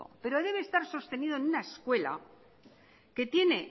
pero debe estar sostenido en una escuela que tiene